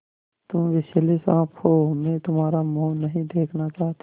तुम विषैले साँप हो मैं तुम्हारा मुँह नहीं देखना चाहती